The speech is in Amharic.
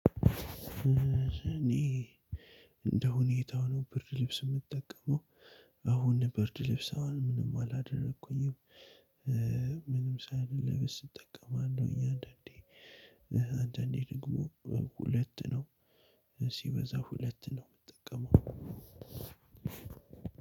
እኔ እንደ ሁኔታው ነው ብርድ ልብስ የምጠቀመው አሁን ብርድ ልብስ አሁን ምንም አላደረኩኝም። ምንም ሳል ልብስ እጠቀማለሁ እኛ አንዳንዴ አንዳንዴ ደግሞ ሁለት ነው ሲበዛ ሁለት ነው የምትጠቀመው።